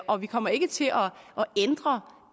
og vi kommer ikke til at ændre